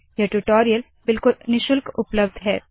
यह ट्यूटोरियल बिल्कुल निःशुल्क उपलब्ध है